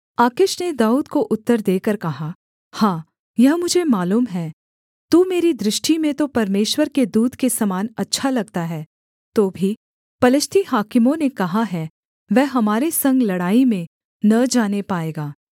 आकीश ने दाऊद को उत्तर देकर कहा हाँ यह मुझे मालूम है तू मेरी दृष्टि में तो परमेश्वर के दूत के समान अच्छा लगता है तो भी पलिश्ती हाकिमों ने कहा है वह हमारे संग लड़ाई में न जाने पाएगा